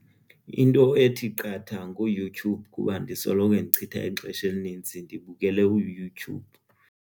Into ethi qatha nguYouTube kuba ndisoloko ndichitha ixesha elinintsi ndibukele uYouTube.